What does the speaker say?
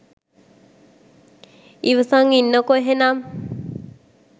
ඉවසන් ඉන්නකො එහෙනම්